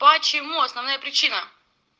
почему основная причина